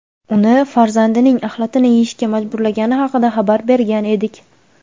uni farzandining axlatini yeyishga majburlagani haqida xabar bergan edik.